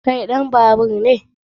Kai ɗan babaur ne?